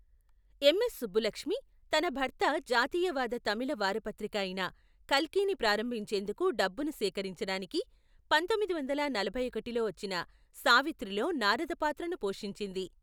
MS Subbulakshmi తన భర్త జాతీయవాద తమిళ వారపత్రిక అయిన కల్కిని ప్రారంభించేందుకు డబ్బును సేకరించడానికి, పంతొమ్మిది వందల నలభై ఒకటిలో వచ్చిన సావిత్రిలో నారద పాత్రను పోషించింది.